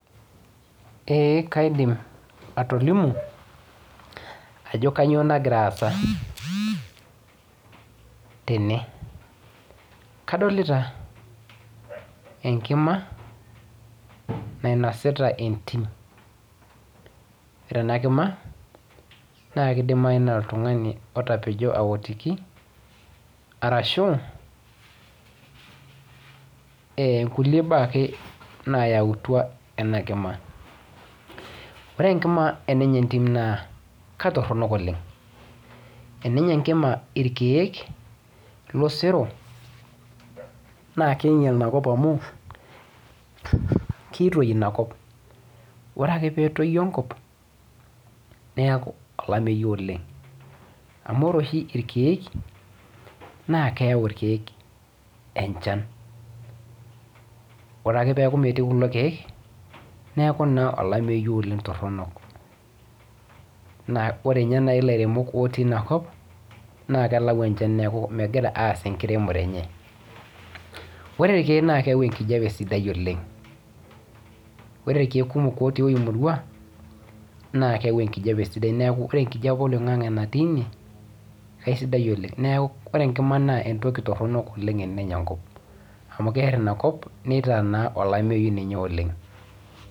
Ee kaidim atolimu ajo kanyoo nagira aasa tene. Kadolita enkima nainosita entim. Ore ena kima naa kidimayu naa oltung'ani otapejo aotiki arashu e kulie baak ake nayautwa ena kima. Ore enkima enenya entim naa katorrono oleng. Enenya enkima irkiek losero naa kiinyal inakop amu kiitoi inakop. Ore ake peetoyu enkop neeku olameyu oleng amu ore oshi irkiek naa keyau irkiek enchan. Ore ake peeku metii kulo kiek neeku naa olameyu oleng torrono. Naa ore ninye naai ilairemok otii inakop naa kelau enchna neeku megira aas enkiremore enye. Ore irkiek naa keyau enkijape sidai oleng, ore irkiek kumok otii emurwa naa keyau enkijape sidai oleng neeku enkijape oloing'ang'e natii ine aisidai oleng. Neeku ore enkima naa entoki torrono oleng enenya enkop amu keerr enkop nitaa naa olameyu siininye oleng